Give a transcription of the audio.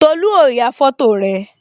Tolu ó ya foto rẹ